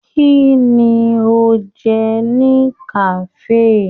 Kínní o jẹ ni kafe?